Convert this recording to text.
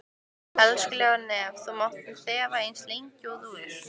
Elskulega nef þú mátt þefa eins lengi og þú vilt.